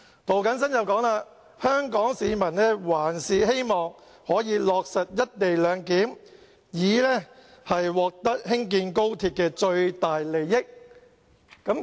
涂謹申議員說，香港市民還是希望可以落實"一地兩檢"，以獲得興建高鐵的最大利益。